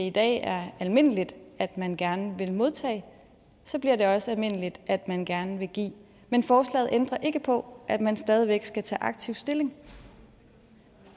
i dag er almindeligt at man gerne vil modtage så bliver det også almindeligt at man gerne vil give men forslaget ændrer ikke på at man stadig væk skal tage aktivt stilling